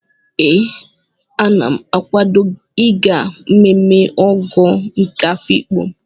Ee, Ana m akawado ịga mmemme Ọgọ nke Afiikpo.